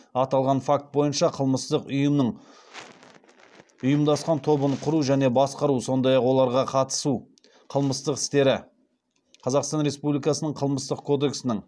аталған факт бойынша қылмыстық ұйымның ұйымдасқан тобын құру және басқару сондай ақ оларға қатысу қылмыстық істері қазақстан республикасының қылмыстық кодексінің